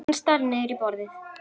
Hann starir niður í borðið.